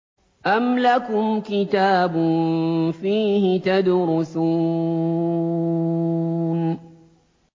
أَمْ لَكُمْ كِتَابٌ فِيهِ تَدْرُسُونَ